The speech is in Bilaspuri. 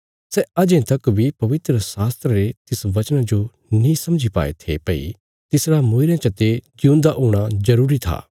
सै अजें तक बी पवित्रशास्त्रा रे तिस बचना जो नीं समझी पाए थे भई तिसरा मूईरयां चते जिऊंदा हूणा जरूरी था